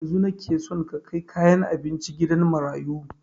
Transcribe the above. Yanzun nike son ka kai kayan abincin gidan marayu